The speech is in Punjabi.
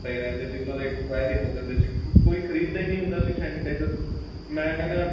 ਪਏ ਰਹਿੰਦੇ ਸੀ ਉਹਨਾ ਦਾ expiry ਹੋ ਜਾਂਦੇ ਸੀ ਕਿਉਂਕਿ ਕੋਈ ਖ਼ਰੀਦ ਦਾ ਹੀ ਨਹੀਂ ਹੁੰਦਾ ਸੀ sanitizer ਮੈਂ ਕਹਿਣਾ